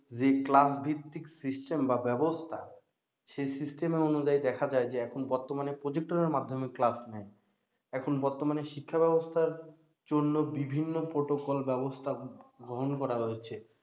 যে class ভিত্তিক system বা ব্যাবস্থা সে system এর অনুযায়ী দেখা যায় যে এখন বর্তমানে প্রজেক্টরের মাধ্যমে class নেয় এখন বর্তমানের শিক্ষা ব্যাবস্থার জন্য বিভিন্ন protocol ব্যাবস্থা গ্রহন করা হয়েছে